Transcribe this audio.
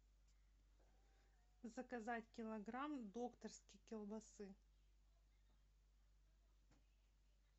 заказать килограмм докторской колбасы